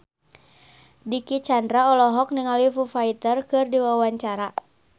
Dicky Chandra olohok ningali Foo Fighter keur diwawancara